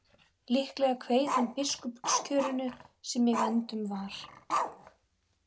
Líklega kveið hann biskupskjörinu sem í vændum var.